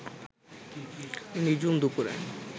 নিঝুম দুপুরে